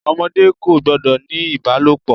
Ọmọdé kò gbọ́dọ̀ ní ìbálòpọ̀.